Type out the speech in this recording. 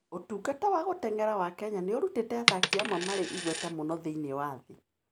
Ũtungata wa gũteng'era wa Kenya nĩ ũrutĩte athaki amwe marĩ igweta mũno thĩinĩ wa thĩ.